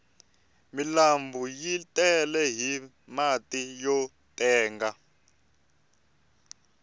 milanbu yi tele hi mati yo tenga